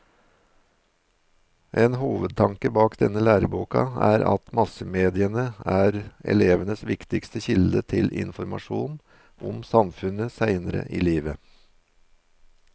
En hovedtanke bak denne læreboka er at massemediene er elevenes viktigste kilde til informasjon om samfunnet senere i livet.